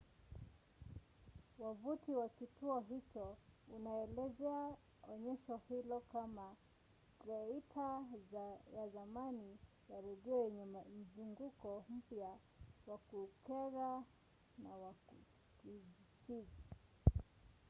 wavuti wa kituo hicho unaelezea onyesho hilo kama thieta ya zamani ya redio yenye mzunguko mpya wa kukera na wa kichizi!